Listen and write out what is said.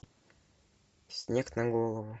снег на голову